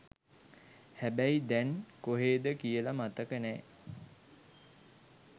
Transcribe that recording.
හැබැයි දැන් කොහේද කියලා මතක නෑ